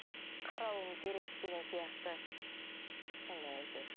қарауым керек деген сияқты сондай әйтеуір